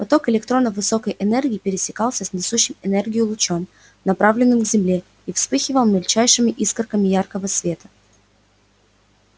поток электронов высокой энергии пересекался с несущим энергию лучом направленным к земле и вспыхивал мельчайшими искорками яркого света